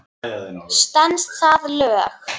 Stenst það lög?